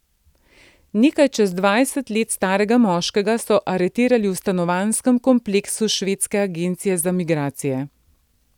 Nekaj čez dvajset let starega moškega so aretirali v stanovanjskem kompleksu švedske agencije za migracije.